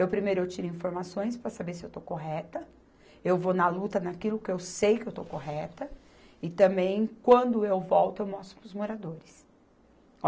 Eu primeiro eu tiro informações para saber se eu estou correta, eu vou na luta naquilo que eu sei que eu estou correta, e também quando eu volto eu mostro para os moradores.